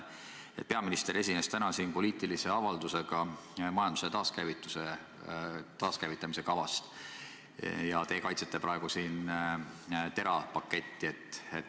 Peaminister esines täna siin poliitilise avaldusega majanduse taaskäivitamise kava kohta ja teie kaitsete praegu siin TERA paketti.